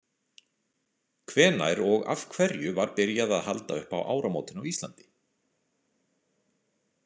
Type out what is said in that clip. Hvenær og af hverju var byrjað að halda upp á áramótin á Íslandi?